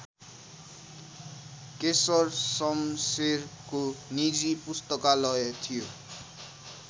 केशर सम्शेरको निजी पुस्तकालय थियो